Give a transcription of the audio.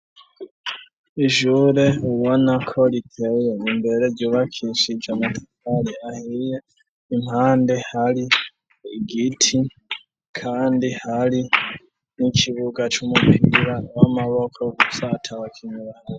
Ijure uwa na ko ritewyo imbere yubakishije amatatari ahiriye impande hari igiti, kandi hari n'ikibuga c'umupigura w'amaboko gusatawa kinyana.